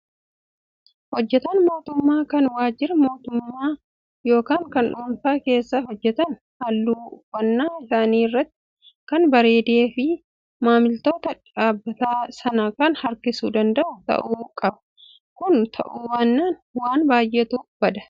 Hojjataan mootummaa kan waajjira mootummaa yookaan kan dhuunfaa keessa hojjatan haalli uffannaa isaanii sirriitti kan bareedee fi maamiltoota dhaabbata sanaa kan harkisuu danda'u ta'uu qbaa. Kun ta'uu baannaan waan baay'eetu bada.